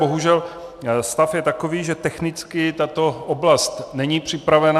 Bohužel stav je takový, že technicky tato oblast není připravena.